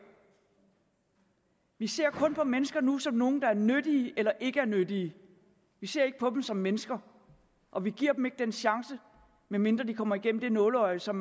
vi ser kun på mennesker nu som nogle der er nyttige eller ikke er nyttige vi ser ikke på dem som mennesker og vi giver dem ikke den chance medmindre de kommer igennem det nåleøje som